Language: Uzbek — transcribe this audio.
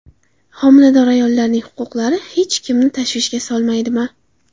Homilador ayollarning huquqlari hech kimni tashvishga solmaydimi?